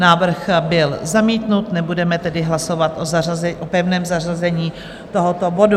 Návrh byl zamítnut, nebudeme tedy hlasovat o pevném zařazení tohoto bodu.